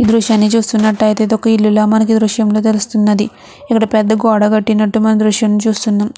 ఈ దృశ్యాన్ని చూసినట్లయితే ఇది ఒక ఇల్లు లా మనకి ఈ దృశ్యంలో తెలుస్తూ ఉన్నది ఇక్కడ పెద్ద గోడ కట్టినట్టు మనం ఈ దృశ్యంలో చూస్తున్నాం